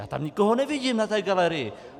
Já tam nikoho nevidím na té galerii.